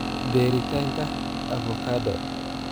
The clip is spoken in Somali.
Beeritaanka: avokado